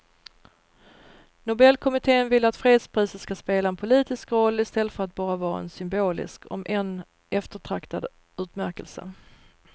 Nobelkommittén vill att fredspriset ska spela en politisk roll i stället för att bara vara en symbolisk om än eftertraktad utmärkelse.